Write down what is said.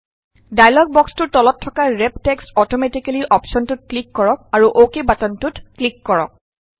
dialogue বক্সটোৰ তলত থকা ৰেপ টেক্সট অটমেটিকেলি অপশ্যনটোত ক্লিক কৰক আৰু অকে বাটনটোত ক্লিক কৰক